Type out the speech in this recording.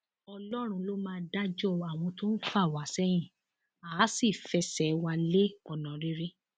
ọlọrun ló máa dájọ àwọn tó ń fà wá sẹyìn àá sì fẹsẹ wa lé ọnà rere